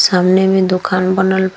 सामने में दुकान बनल बा।